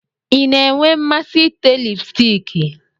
Ị na-enwe mmasị ite lipstiki?